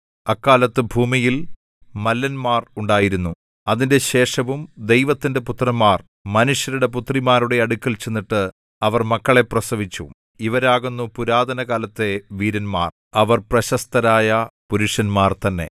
അക്കാലത്ത് ഭൂമിയിൽ മല്ലന്മാർ ഉണ്ടായിരുന്നു അതിന്റെ ശേഷവും ദൈവത്തിന്റെ പുത്രന്മാർ മനുഷ്യരുടെ പുത്രിമാരുടെ അടുക്കൽ ചെന്നിട്ട് അവർ മക്കളെ പ്രസവിച്ചു ഇവരാകുന്നു പുരാതനകാലത്തെ വീരന്മാർ അവർ പ്രശസ്തരായ പുരുഷന്മാർ തന്നെ